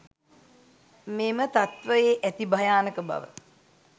මෙම තත්ත්වයේ ඇති භයානක බව